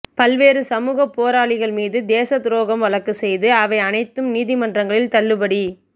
பல்வேறு சமூகப் போராளிகள் மீது தேச துரோகம் வழக்கு செய்து அவை அனைத்தும் நீதிமன்றங்களில் தள்ளுபடி